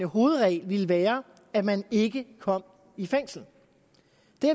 hovedregel ville være at man ikke kom i fængsel